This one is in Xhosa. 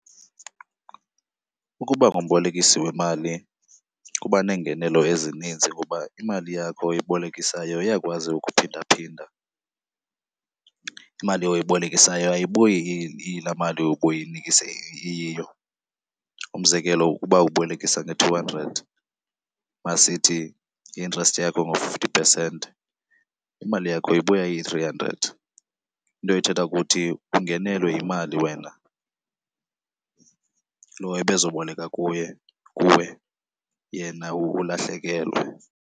Ukuba ngumbolekisi wemali kuba neengenelo ezininzi kuba imali yakho oyibolekisayo iyakwazi ukuphinda phinda. Imali oyibolekisileyo ayibuyi iyilaa mali ubuyinikise iyiyo. Umzekelo uba ubolekisa nge-two hundred, masithi i-interest yakho ngu-fifty percent, imali yakho ibuya iyi-three hundred. Into ethetha ukuthi ungenelwe yimali wena, lo ebezoboleka kuye, kuwe yena ulahlekelwe.